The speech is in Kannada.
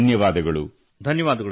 ತುಂಬ ಧನ್ಯವಾದಗಳು